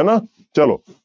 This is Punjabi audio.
ਹਨਾ ਚਲੋ